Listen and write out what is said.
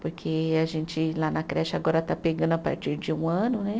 Porque a gente lá na creche agora está pegando a partir de um ano, né?